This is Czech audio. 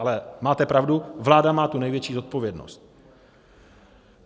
Ale máte pravdu, vláda má tu největší odpovědnost.